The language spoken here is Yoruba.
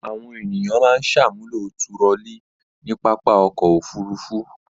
Àwọn ènìyàn máa ń ṣàmúlò turọlí ní pápá ọkọ̀-òfurufú.